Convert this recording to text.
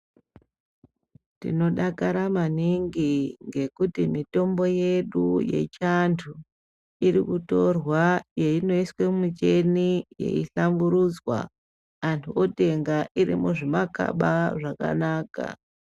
Tinodakara maningi ngekuti mitombo yedu yechiantu irikutorwa yeinoiswa mumuchini yeihlamburudzwa antu otenga irimuzvimakaba zvakanaka.